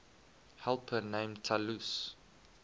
helper named talus